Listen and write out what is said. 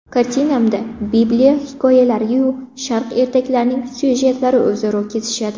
Kartinamda bibliya hikoyalari-yu sharq ertaklarining syujetlari o‘zaro kesishadi.